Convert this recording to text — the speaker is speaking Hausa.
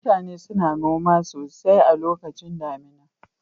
Mutane suna noma sosai a lokacin damina